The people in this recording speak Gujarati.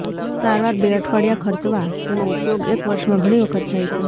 સારવાર બે અઠવાડિયા ખર્ચવા તેનો ઉપયોગ એક વર્ષમાં ઘણી વખત થાય છે